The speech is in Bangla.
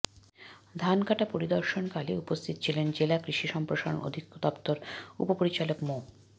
ধান কাটা পরিদর্শনকালে উপস্থিত ছিলেন জেলা কৃষি সম্প্রসারণ অধিদপ্তরের উপপরিচালক মো